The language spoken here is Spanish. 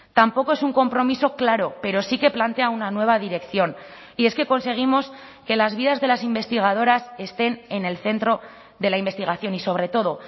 tampoco es un compromiso claro pero sí que plantea una nueva dirección y es que conseguimos que las vidas de las investigadoras estén en el centro de la investigación y sobre todo